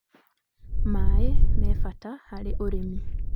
maĩ me bata hari ũrĩmĩ.